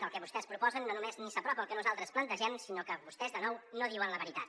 el que vostès proposen no només ni s’apropa al que nosaltres plantegem sinó que vostès de nou no diuen la veritat